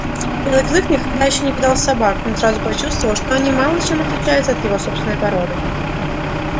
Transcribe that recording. белый клык никогда ещё не видал собак но сразу почувствовал что они мало чем отличаются от его собственной породы